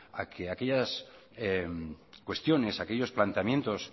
a que aquellas cuestiones aquellos planteamientos